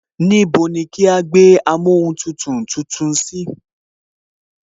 Níbo ni kí á gbé amóhuntutù tuntun sí